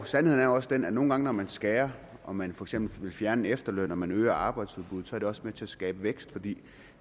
sandheden er også den at nogle gange når man skærer og man for eksempel vil fjerne efterlønnen og man øger arbejdsudbuddet så er det også med til at skabe vækst for de